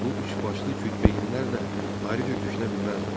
Bu üçbaşlı Kütbeyinlər də ayrıca düşünə bilməzlər.